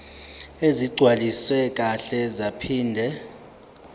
ezigcwaliswe kahle zaphinde